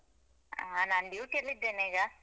ಆ ನಾನ್ duty ಲ್ ಇದ್ದೇನೀಗ.